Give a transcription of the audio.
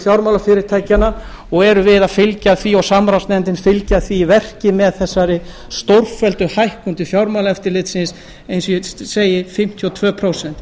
fjármálafyrirtækjanna og erum við að fylgja því og samráðsnefndin fylgja því í verki með þessari stórfelldu hækkun til fjármálaeftirlits eins og ég segi fimmtíu og tvö prósent